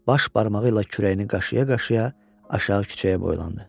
Baş barmağı ilə kürəyini qaşıya-qaşıya aşağı küçəyə boylandı.